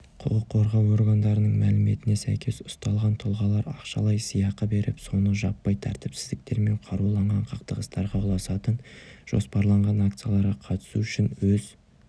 құқыққорғау органдарының мәліметіне сәйкес ұсталған тұлғалар ақшалай сыйақы беріп соңы жаппай тәртіпсіздіктер мен қаруланған қақтығыстарға ұласатын жоспарланған акцияларға қатысу үшін өз